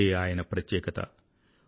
ఇదే ఆయన ప్రత్యేకత